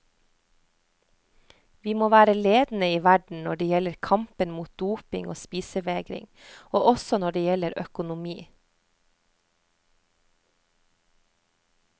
Vi må være ledende i verden når det gjelder kampen mot doping og spisevegring, og også når det gjelder økonomi.